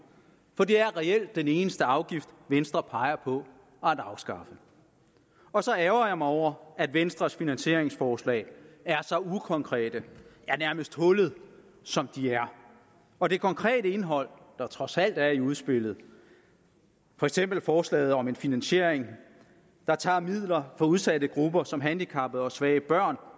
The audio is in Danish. for det er reelt den eneste afgift venstre peger på at afskaffe og så ærgrer jeg mig over at venstres finansieringsforslag er så ukonkrete ja nærmest hullede som de er og det konkrete indhold der trods alt er i udspillet for eksempel forslaget om en finansiering der tager midler fra udsatte grupper som handicappede og svage børn